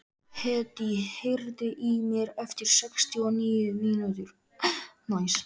Hedí, heyrðu í mér eftir sextíu og níu mínútur.